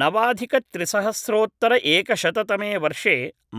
नवाधिकत्रिसहस्रोत्तरएकशततमे वर्षे